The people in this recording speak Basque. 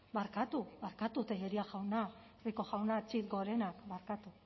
barkatu barkatu tellería jauna rico jauna txit gorenak barkatu